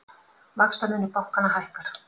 Vaxtamunur bankanna hækkar